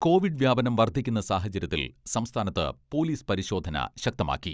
Covid വ്യാപനം വർധിക്കുന്ന സാഹചര്യത്തിൽ സംസ്ഥാനത്ത് പോലിസ് പരിശോധന ശക്തമാക്കി.